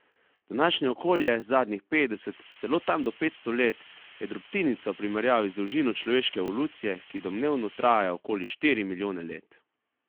Današnje okolje, zadnjih petdeset, celo tam do petsto let, je drobtinica v primerjavi z dolžino človeške evolucije, ki domnevno traja okoli štiri milijone let.